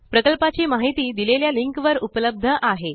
प्रकल्पाची माहिती दिलेल्या लिंकवर उपलब्ध आहे